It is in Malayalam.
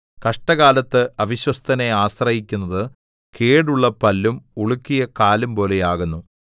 കഷ്ടകാലത്ത് അവിശ്വസ്തനെ ആശ്രയിക്കുന്നത് കേടുള്ള പല്ലും ഉളുക്കിയ കാലുംപോലെ ആകുന്നു